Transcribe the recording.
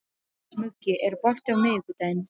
Muggi, er bolti á miðvikudaginn?